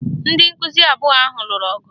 Ndị nkụzi abụọ ahụ lụrụ ọgụ